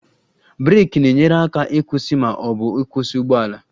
Breeki na-enyere aka ịkwụsị ma ọ bụ kwụsị ụgbọ ala